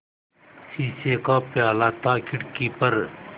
शीशे का प्याला था खिड़की पर